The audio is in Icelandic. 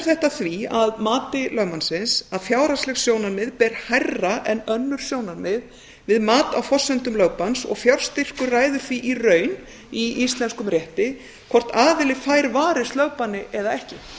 þetta því að mati lögmannsins að fjárhagsleg sjónarmið ber hærra en önnur sjónarmið við mat á forsendum lögbanns og fjárstyrkur ræður því í raun í íslenskum rétti hvort aðili fær varist lögbanni eða ekki